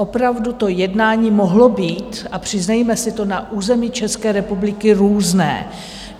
Opravdu to jednání mohlo být, a přiznejme si to, na území České republiky různé.